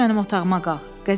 Düz mənim otağıma qalx.